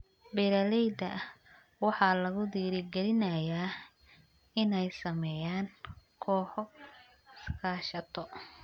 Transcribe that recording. Beeralayda waxaa lagu dhiirigelinayaa inay sameeyaan kooxo iskaashato.